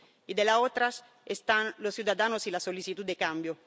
y en la otra están los ciudadanos y la solicitud de cambio.